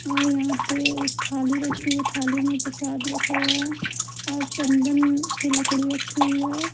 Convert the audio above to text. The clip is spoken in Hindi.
और यहां पे एक थाली रखी हुई है थाली में प्रशाद रखा हुए है और चंदन की लकड़ी रखी हुई है।